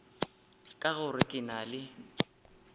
ka gore ke na le